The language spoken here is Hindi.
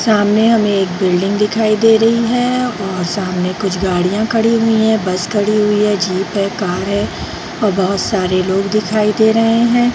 सामने हमें एक बिल्डिंग दिखाई दे रही है और सामने कुछ गाड़ियाँ खड़ी हुई हैं बस खड़ी हुई है जीप है कार है और बहुत सारे लोग दिखाई दे रहे हैं ।